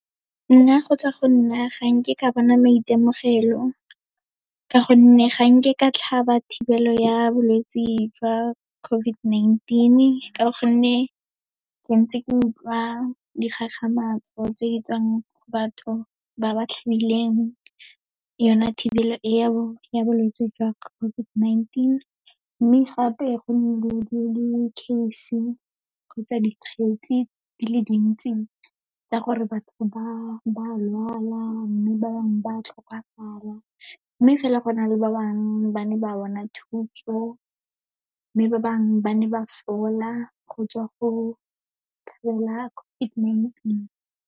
Nna go tswa go nna, ga nke ka bona maitemogelo ka gonne ga nke ka tlhaba thibelo ya bolwetse jwa COVID-19, ka gonne ke ntse ke utlwa dikgakgamatso tse di tswang go batho ba ba tlhabileng yona thibelo e o ya bolwetse jwa COVID-19. Mme gape, go nnile le di-case-e kgotsa dikgetsi di le dintsi tsa gore batho ba lwala, mme ba bangwe ba tlhokafala. Mme fela go na le ba bangwe ba ne ba bona thuso, mme ba bangwe ba ne ba fola go tswa go tlhola COVID-19.